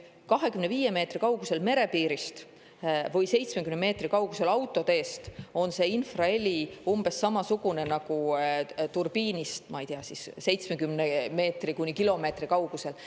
25 meetri kaugusel merepiirist või 70 meetri kaugusel autoteest on infraheli umbes samasugune nagu turbiinist, ma ei tea, 70 meetri kuni kilomeetri kaugusel.